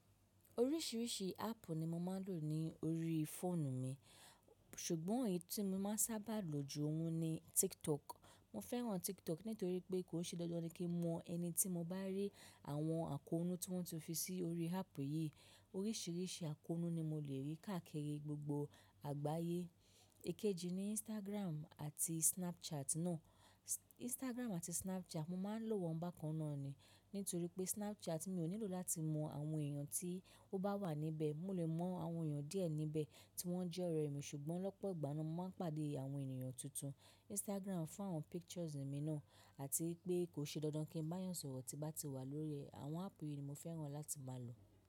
Oríṣìíríṣìí áàpù ni mo máa ń lò ní orí fóònù mi. Ṣùgbọ́n èyí tí mo máa ń sábà lò ju òun ni TikTok. Mo fẹ́ràn TikTok nítorí pé kò n ṣe dandan ni kí n mọ ẹni tí mo bá rí àwọn àkóónú tí wọ́n ti fi sí orí áàpù yìí. Oríṣìíríṣìí àkóónú ni mo lè rí káàkiri gbogbo àgbáyé. Ekeji ni Instagram àti Snapchat náà. Instagram àti Snapchat, mo máa ń lò wọ́n bákan náà ni. Nítorí pé Snapchat mi ò nílò láti mọ àwọn èèyàn tí ó bá wà níbẹ̀. Mo lè mọ àwọn èèyàn díẹ̀ níbẹ̀ tí wọ́n jẹ́ ọ̀rẹ́ mi ṣùgbọ́n lọ́pọ̀ ìgbà náà mo máa ń pàdé àwọn ènìyàn tuntun. Instagram fún àwọn pictures mi náà àti pé kò ṣe dandan kí n bá eeyań sọ̀rọ̀ tí n bá ti wà lórí ẹ. Àwọn áàpù yìí ni mo fẹ́ràn láti máa lò.